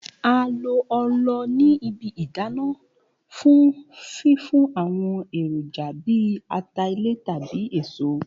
A lo òòlù ni ibi idana fun fifun awọn eroja bi ata ilẹ tabi eso.